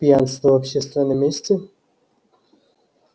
пьянство в общественном месте